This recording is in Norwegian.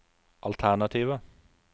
alternativer